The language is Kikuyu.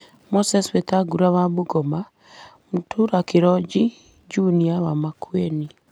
Moses Wetangula wa Bungoma, Mutula Kilonzo Jnr wa Makueni,